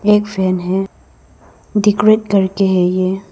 एक फेन है डेकोरेट करके है ये।